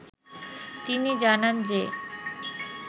তিনি জানান যে